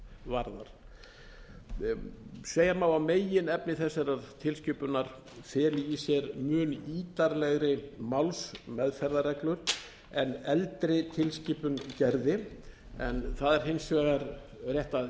varðar segja má að meginefni þessarar tilskipunar feli í sér mun ítarlegri málsmeðferðarreglur en eldri tilskipun gerði en það er hins vegar rétt að